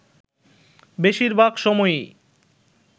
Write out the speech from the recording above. বেশির ভাগ সময়ই